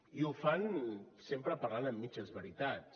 i ho fan sempre parlant amb mitges veritats